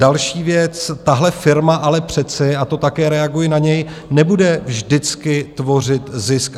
Další věc, tahle firma ale přece - a to také reaguji na něj - nebude vždycky tvořit zisk.